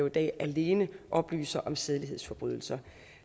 i dag alene oplyser om sædelighedsforbrydelser